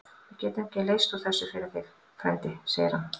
Við getum ekki leyst úr þessu fyrir þig, frændi segir hann.